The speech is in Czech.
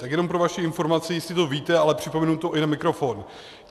Tak jenom pro vaši informaci, jistě to víte, ale připomenu to i na mikrofon.